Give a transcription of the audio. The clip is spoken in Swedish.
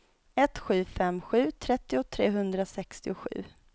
ett sju fem sju trettio trehundrasextiosju